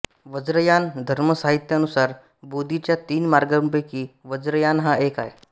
वज्रयान धर्मसाहित्यानुसार बोधीच्या तीन मार्गांपैकी वज्रयान हा एक आहे